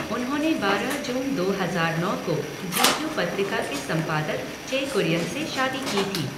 उन्होंने बारह जून दो हजार नौ को जी क्यू पत्रिका के संपादक चे कुरियन से शादी की थी।